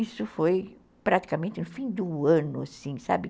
Isso foi praticamente no fim do ano, assim, sabe?